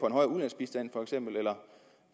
en høj ulandsbistand og